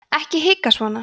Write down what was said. ekki hika svona